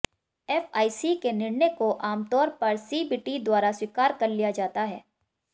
FIC के निर्णय को आमतौर पर सीबीटी द्वारा स्वीकार कर लिया जाता है